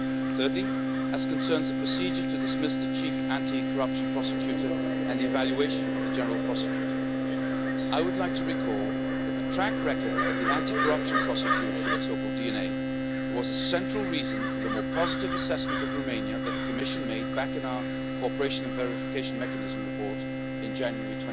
Thirdly, as concerns a procedure to dismiss the chief anti corruption prosecutor and the evaluation of the general prosecutor, I would like to recall that the track record of the anti corruption prosecution, the so called DNA, was a central reason for the more positive assessment of Romania that the Commission made back in our Cooperation and Verification Mechanism report in January